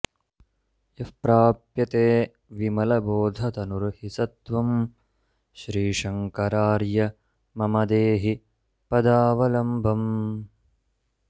यः प्राप्यते विमलबोधतनुर्हि स त्वं श्रीशङ्करार्य मम देहि पदावलम्बम्